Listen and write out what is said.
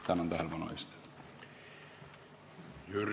Tänan tähelepanu eest!